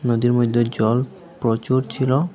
নদীর মধ্যে জল প্রচুর ছিল।